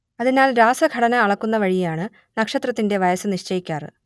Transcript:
അതിനാൽ രാസഘടന അളക്കുന്നവഴിയാണ് നക്ഷത്രത്തിന്റെ വയസ്സ് നിശ്ചയിക്കാറ്